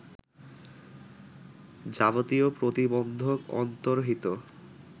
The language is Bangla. যাবতীয় প্রতিবন্ধক অন্তর্হিত